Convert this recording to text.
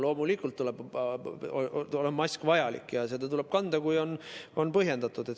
Loomulikult on mask vajalik ja seda tuleb kanda, kui see on põhjendatud.